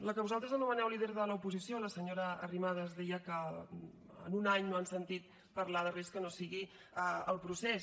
la que vosaltres anomeneu líder de l’oposició la senyora arrimadas deia que en un any no han sentit parlar de res que no sigui el procés